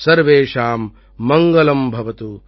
சர்வேஷாம் மங்களம் பவது